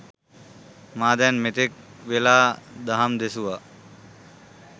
මා දැන් මෙතෙක් වේලා දහම් දෙසුවා.